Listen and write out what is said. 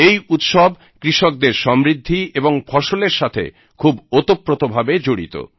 এই উৎসব কৃষকদের সমৃদ্ধি এবং ফসলের সাথে খুব ওতপ্রতভাবে জড়িত